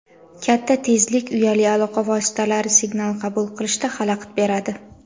Katta tezlik uyali aloqa vositalari signal qabul qilishda xalaqit beradi.